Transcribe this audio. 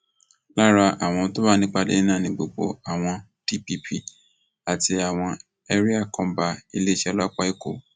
lára àwọn tó wà nípàdé náà ni gbogbo àwọn dpp àti àwọn ẹríà kọńbà iléeṣẹ ọlọpàá èkó